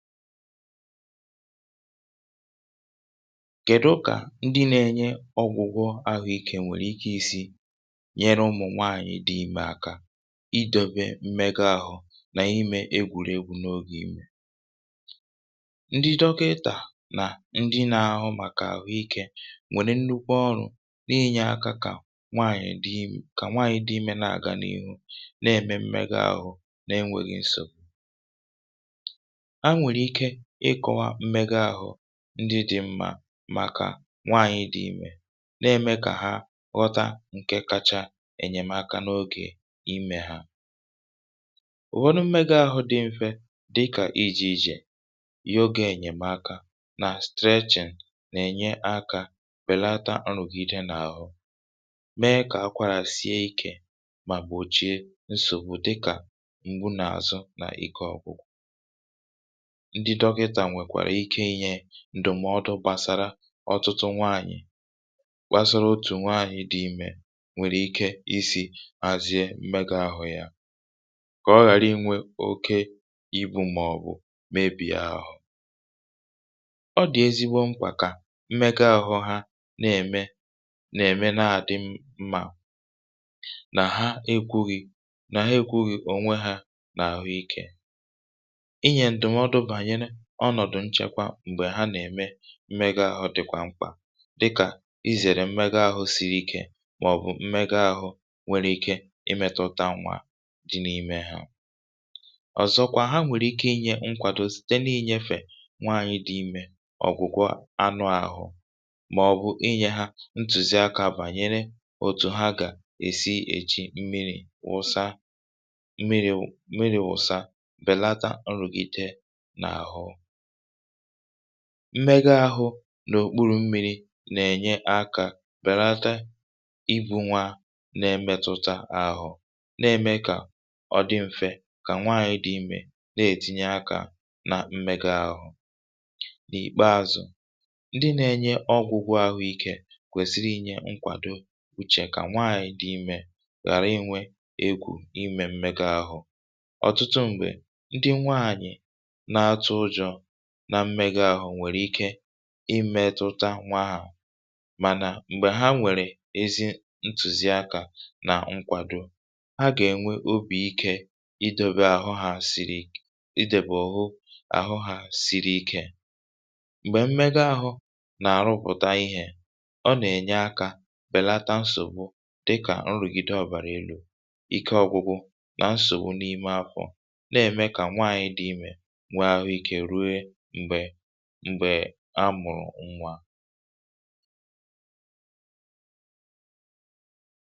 kèdu kà ndị nȧ-ėnye ọ̀gwụ̀gwọ àhụikė nwèrè ike isi̇ nyere ụmụ̀ nwaànyị̀ dị imė aka idebe mmega àhụ nà imė egwùregwu n’oge imė? ndị dọka ịtà nà ndị nȧ-ahụ màkà àhụikė nwèrè nnukwu ọrụ̇ n’inyė akȧ, kà nwaànyị̀ dị imė kà nwaànyị̀ dị imė na-àga n’ihu na-ème mmega àhụ na-enwėghi̇ nso ndị dị̀ mma. màkà nwaànyị̀ dị imė na-ème kà ha ghọta ǹkè kacha ènyèmaka n’ogè imė ha. ụ̀wọdụ mmega ahụ̇ dị m̀fe, dịkà ijì ijè, um yoga, ènyèmaka nà strechìng nà-ènye akȧ, bèlata ọ̀rụ̀gide n’àhụ, mee kà akwàrà sie ikè, mà gbòchie nsògbu dịkà ngwụnààzụ nà ike ọ̀gwụgwụ. ǹdùmọdụ̇ gbàsara ọtụtụ nwaanyị̀ gbasara otù nwaanyị̀ dị imė nwèrè ike isi̇ azịe mmega ahụ̇ yȧ, kà ọ ghàrị inwė oke ibu̇ mmȧọ̀bụ̀ mebìa ahụ̀. ọ dị̀ ezigbo mkpà kà mmega ahụ̇ ha na-ème, na-ème, na-àdị mmȧ nà ha. ekwughi̇ nà ha ekwughì ònwe hȧ n’àhụ ikė. ọnọ̀dụ̀ nchèkwa m̀gbè ha nà-ème mmega ahụ̇ dị̀kwà mkpà, dịkà izèrè mmega ahụ̇ siri ikė, màọ̀bụ̀ mmega ahụ̇ nwere ike imetụta nwà dị n’ime ha. ọ̀zọkwa ha nwèrè ike inye nkwàdo site n’inyefè nwaànyị̇ dị imė ọ̀gwụ̀gwọ anụ̇ àhụ, màọ̀bụ̀ inye ha ntùzi akȧ bànyere òtù ha gà-èsi èchi mmiri̇, wụsa mmiri̇ wụ̇sa, bèlata nrùgide. mmega ahụ̇ n’òkpuru̇ mmiri̇ nà-ènye akȧ, bèlata ibu̇ nwa na-emetụta ahụ̇, na-ème kà ọ dị̇ m̀fe kà nwaànyị dị imė na-ètinye akȧ nà mmega ahụ̇. n’ìkpeȧzụ̇, ndị nȧ-ènye ọgwụ̇gwọ̇ àhụikė kwèziri inyė nkwàdo, bụ̀chè kà nwaànyị dị imė ghàra inwė egwù imè mmega ahụ̇. ọ̀tụtụ m̀gbè ndị nwaànyị̀ nà mmega ahụ̇ nwèrè ike imetụta nwa ahụ̀, mànà m̀gbè ha nwèrè ezi ntùzi akȧ nà nkwàdo, ha gà-ènwe obì ikė idebe àhụ hȧ sìrì i idèbè. ọ̀hụ àhụ hà siri ikė m̀gbè mmega ahụ̇ nà-àrụpụ̀ta ihė, ọ nà-ènye akȧ bèlata nsògbu dịkà nrụ̀gide ọ̀bàrà elu̇, ike ọgwụgwụ, nà nsògbu n’ime afọ̇, na-ème kà nwaanyị̇ dị imė a mụ̀rụ̀ ṅgwȧ.